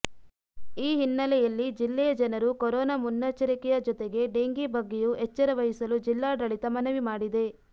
ಈ ಹಿನ್ನೆಲೆಯಲ್ಲಿ ಜಿಲ್ಲೆಯ ಜನರು ಕೊರೋನಾ ಮುನ್ನೆಚ್ಚರಿಕೆಯ ಜೊತೆಗೆ ಡೆಂಘೀ ಬಗ್ಗೆಯೂ ಎಚ್ಚರ ವಹಿಸಲು ಜಿಲ್ಲಾಡಳಿತ ಮನವಿ ಮಾಡಿದೆ